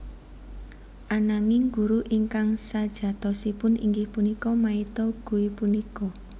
Ananging guru ingkang sajatosipun inggih punika maito Guy punika